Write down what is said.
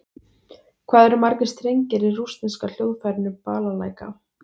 Hvað eru margir strengir í rússneska hljóðfærinu Balalæka?